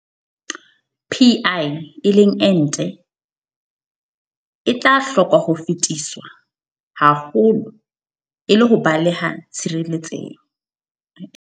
Pi, o tla hoka ho fetiswa haholo le ho baleha tshireletseho.